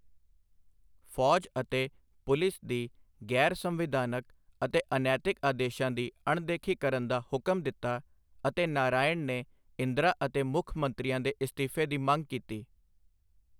ਫੌਜ ਅਤੇ ਪੁਲਿਸ ਦੀ ਗੈਰ ਸੰਵਿਧਾਨਕ ਅਤੇ ਅਨੈਤਿਕ ਆਦੇਸ਼ਾਂ ਦੀ ਅਣਦੇਖੀ ਕਰਨ ਦਾ ਹੁਕਮ ਦਿੱਤਾ ਅਤੇ ਨਾਰਾਇਣ ਨੇ ਇੰਦਰਾ ਅਤੇ ਮੁੱਖ ਮੰਤਰੀਆਂ ਦੇ ਅਸਤੀਫੇ ਦੀ ਮੰਗ ਕੀਤੀ।